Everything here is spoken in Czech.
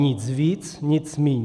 Nic ví, nic míň.